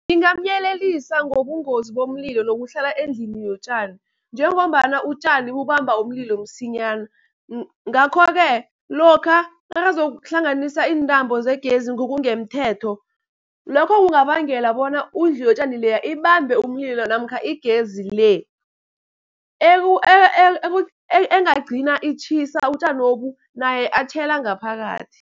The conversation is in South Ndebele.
Ngingamyelelisa ngobungozi bomlilo nokuhlala endlini yotjani, njengombana utjani bubamba umlilo msinyana. Ngakho-ke lokha nakazokuhlanganisa iintambo zegezi ngokungemthetho, lokho kungabangela bona indlu yotjani leya ibambe umlilo. Namkha igezi le engagcina itjhisa utjanobu naye atjhela ngaphakathi.